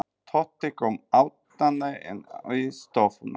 Tóti kom æðandi inn í stofuna.